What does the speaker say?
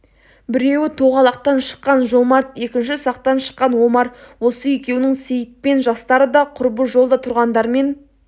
біреуі тоғалақтан шыққан жомарт екінші сақтан шыққан омар осы екеуінің сейітпен жастары да құрбы жолда тұрғандармен